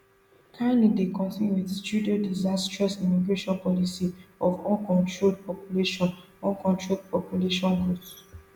carney dey continue wit trudeau disastrous immigration policy of uncontrolled population uncontrolled population growth